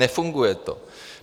Nefunguje to.